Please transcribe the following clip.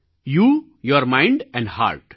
you your mind and hurt